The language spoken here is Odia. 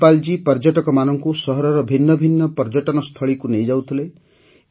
ଧନ୍ପାଲ୍ ଜୀ ପର୍ଯ୍ୟଟକମାନଙ୍କୁ ସହରର ଭିନ୍ନ ଭିନ୍ନ ପର୍ଯ୍ୟଟନସ୍ଥଳୀକୁ ନେଇଯାଉଥିଲେ